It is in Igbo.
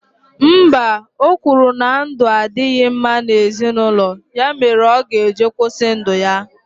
Mba, o kwuru na ndụ adịghị mma na ezinụlọ, ya mere ọ ga-eji kwụsị ndụ ya.